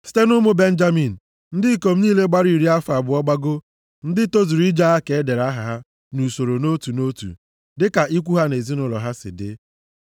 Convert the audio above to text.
Site nʼụmụ Benjamin, ndị ikom niile gbara iri afọ abụọ gbagoo, ndị tozuru ije agha ka e dere aha ha nʼusoro nʼotu nʼotu dịka ikwu ha na ezinaụlọ ha si dị.